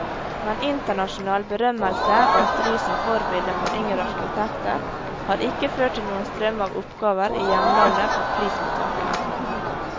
Men internasjonal berømmelse og et ry som forbilde for yngre arkitekter, har ikke ført til noen strøm av oppgaver i hjemlandet for prismottageren.